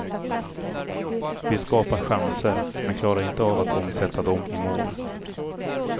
Vi skapar chanser, men klarar inte av att omsätta dem i mål.